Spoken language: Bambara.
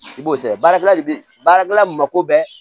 I b'o sɛ baarakɛla de bi baarakɛla mako bɛɛ